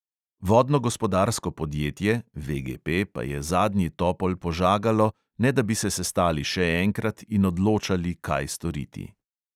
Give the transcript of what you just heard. Vodnogospodarsko podjetje pa je zadnji topol požagalo, ne da bi se sestali še enkrat in odločali, kaj storiti.